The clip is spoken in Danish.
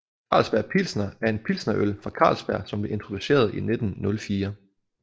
Carlsberg Pilsner er en pilsnerøl fra Carlsberg som blev introduceret i 1904